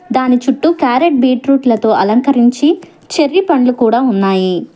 దాని చుట్టూ క్యారెట్ బీట్రూట్లతో అలంకరించి చెర్రీ పండ్లు కూడా ఉన్నాయి.